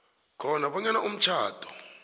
khona bonyana umtjhado